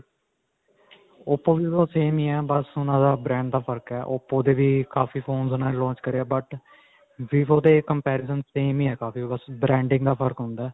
oppo, vivo same ਹੀ ਹੈ. ਬਸ ਉਨ੍ਹਾਂ ਦਾ brand ਦਾ ਫਰਕ ਹੈ. oppo ਦੇ ਵੀ ਕਾਫੀ phones ਉਨ੍ਹਾਂ ਨੇ launch ਕਰੇ ਹੈ but vivo ਦੇ comparison same ਹੀ ਹੈ ਬਸ branding ਦਾ ਫ਼ਰਕ ਹੁੰਦਾ ਹੈ..